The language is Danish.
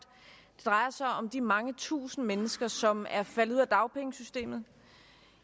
det drejer sig om de mange tusinde mennesker som er faldet ud af dagpengesystemet